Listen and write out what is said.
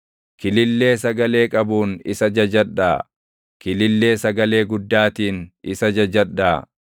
Kilillee sagalee qabuun isa jajadhaa; kilillee sagalee guddaatiin isa jajadhaa.